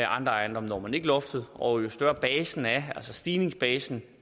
andre ejendomme når man ikke loftet og jo større basen er altså stigningsbasen